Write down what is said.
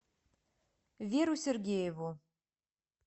веру сергееву